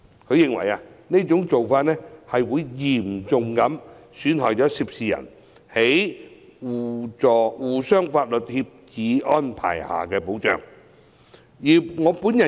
他認為，這種做法會嚴重損害涉事人在《刑事事宜相互法律協助條例》下所獲得的保障。